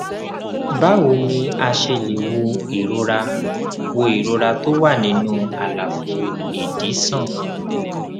báwo ni a ṣe lè wo ìrora wo ìrora tó wà nínú àlàfo ìdí sàn